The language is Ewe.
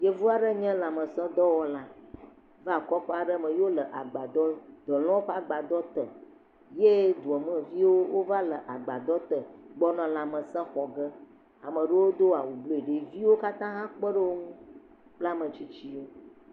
Yevu aɖe nye lãmesẽdɔwɔla va kɔƒe aɖe me ye wole agbadɔ delɔ̃ ƒe agbadɔ te ye duameviwo va nɔ agbadɔ te gbɔ lãmesẽ xɔ ge. Ame aɖewo do awu blu, ɖeviwo katã kpe ɖe wo ŋu kple ame tsitsiwo.